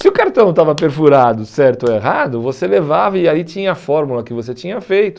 Se o cartão estava perfurado certo ou errado, você levava e aí tinha a fórmula que você tinha feito.